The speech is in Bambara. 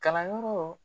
Kalanyɔrɔ